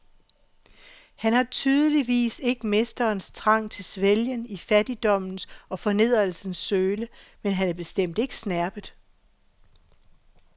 Han har tydeligvis ikke mesterens trang til svælgen i fattigdommens og fornedrelsens søle, men han er bestemt ikke snerpet.